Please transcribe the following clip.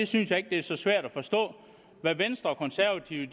synes ikke det er så svært at forstå hvad venstre og konservative